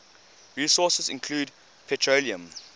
resources include petroleum